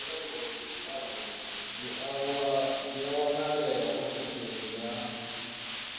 dzi a wanalea ofisini ya